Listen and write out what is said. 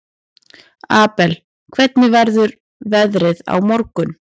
Abel, hvernig verður veðrið á morgun?